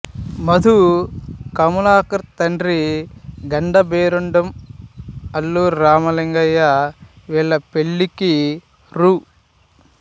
మధు కమలాకర్ తండ్రి గండభేరుండం అల్లు రామలింగయ్య వీళ్ళ పెళ్ళికి రూ